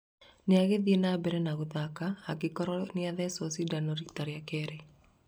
nĩagĩthiĩ na mbere na gũthaka angĩkorwo nĩa thecetwo cindano rĩta rĩa keri